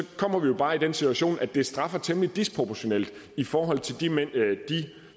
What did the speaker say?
kommer vi jo bare i den situation at vi straffer temmelig disproportionalt i forhold til de